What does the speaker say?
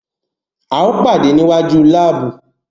Ao pade ni iwaju laabu